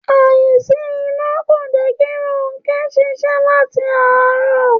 Àìsí iná kò jé̩ kí Rónké̩ s̩ís̩é̩ láti àárò̩